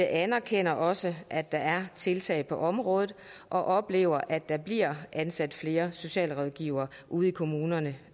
anerkender også at der er tiltag på området og oplever at der bliver ansat flere socialrådgivere ude i kommunerne